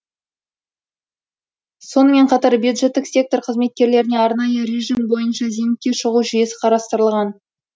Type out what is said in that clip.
сонымен қатар бюджеттік сектор қызметкерлеріне арнайы режим бойынша зейнетке шығу жүйесі қарастырылған